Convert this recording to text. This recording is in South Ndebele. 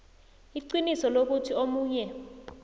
iqiniso lokuthi omunye